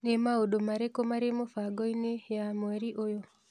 Nĩ maũndũ marĩkũ marĩ mũbango-inĩ ya mweri ũyũ?